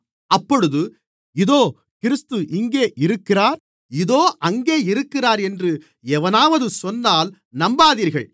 அப்பொழுது இதோ கிறிஸ்து இங்கே இருக்கிறார் அதோ அங்கே இருக்கிறார் என்று எவனாவது சொன்னால் நம்பாதீர்கள்